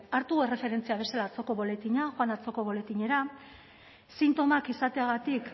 hartu erreferentzia bezala boletina joan atzoko boletinera sintomak izateagatik